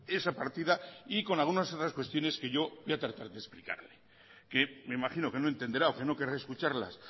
esa partida y algunas otras cuestiones que yo voy a tratar de explicarle que me imagino que no lo entenderá o que no querrá escuchar los